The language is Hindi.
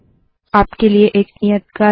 आपके लिए एक नियत कार्य है